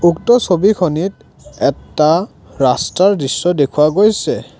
উক্ত ছবিখনিত এটা ৰাস্তাৰ দৃশ্য দেখুওৱা গৈছে।